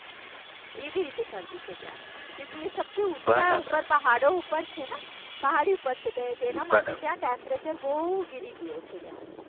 એવી રીતે શરદી છે ત્યાંનું. ક્યોંકિ એ બરાબર સબસે ઉપર પહાડો ઉપર છે એટલે જેમાં ત્યાંનું ટેમ્પરેચર બહુ ગીરી ગયું છે ત્યાંનું